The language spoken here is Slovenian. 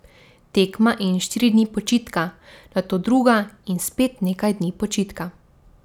Tekma in štiri dni počitka, nato druga in spet nekaj dni počitka.